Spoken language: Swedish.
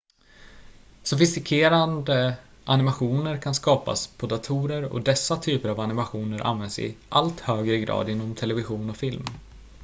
sofistikerade animationer kan skapas på datorer och dessa typer av animationer används i allt högre grad inom television och film